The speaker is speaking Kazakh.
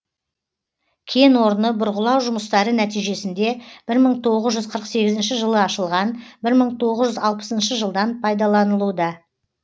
кен орны бұрғылау жұмыстары нәтижесінде бір мың тоғыз жүз қырық сегізінші жылы ашылған бір мың тоғыз жүз алпысыншы жылдан пайдаланылуда